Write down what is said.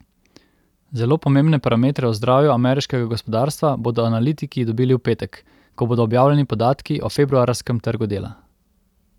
Zelo pomembne parametre o zdravju ameriškega gospodarstva bodo analitiki dobili v petek, ko bodo objavljeni podatki o februarskem trgu dela.